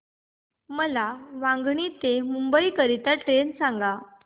मला वांगणी ते मुंबई करीता ट्रेन सांगा